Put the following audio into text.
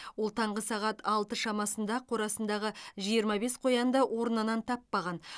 ол таңғы сағат алты шамасында қорасындағы жиырма бес қоянды орнынан таппаған